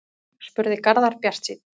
spurði Garðar bjartsýnn